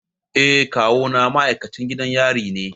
Eh kawuna ma'aikacin gidan yari ne.